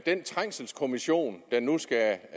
den trængselskommissionen der nu skal